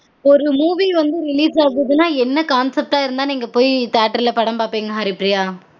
ஒரு movie release ஆக போகுதுனா என்ன concept ஆ இருந்தா நீங்க போய் theatre ல படம் பாப்பீங்க ஹரிப்ரியா